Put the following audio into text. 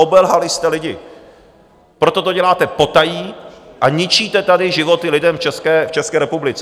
Obelhali jste lidi, proto to děláte potají a ničíte tady životy lidem v České republice.